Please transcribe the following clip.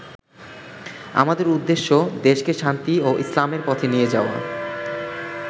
আমাদের উদ্দেশ্য দেশকে শান্তি ও ইসলামের পথে নিয়ে যাওয়া।